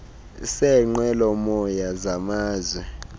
seenqwelo moya samazwe